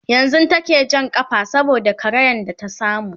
yanzun take Jan kafa saboda karayan da ta samu